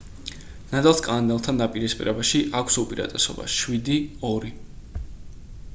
ნადალს კანადელთან დაპირისპირებაში აქვს უპირატესობა 7-2